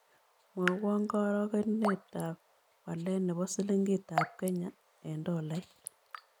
Mwawon karogenetap walet ne po slingitap kenya eng' tolait